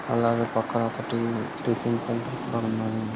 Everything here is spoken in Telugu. అలాగ పక్కన ఒకటి టిఫిన్ సెంటర్ కూడా ఉన్నదీ--